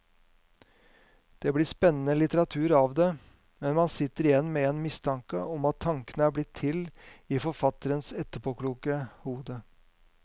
Det blir spennende litteratur av det, men man sitter igjen med en mistanke om at tankene er blitt til i forfatterens etterpåkloke hode.